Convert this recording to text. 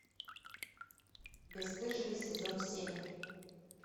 бесстыжие сезон семь